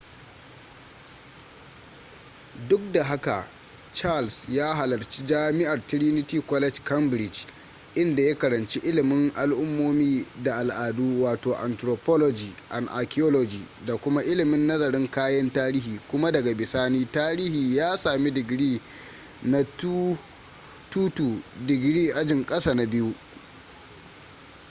duk da haka charles ya halarci jami'ar trinity college cambridge inda ya karanci ilimin al’ummomi da al’adu wato anthropology and archaeology da kuma ilimin nazarin kayan tarihi kuma daga bisani tarihi ya sami digiri na 2:2 digiri ajin ƙasa na biyu